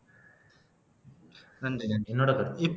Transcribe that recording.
நன்றி நன்றி என்னோட கருத்து